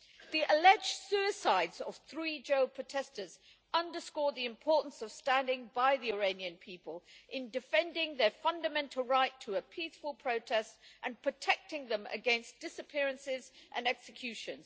The alleged suicides of three jailed protesters underscore the importance of standing by the Iranian people in defending their fundamental right to peaceful protest and protecting them against disappearances and execution.